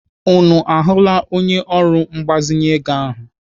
Unu ahụla onye ọrụ mgbazinye ego ahụ?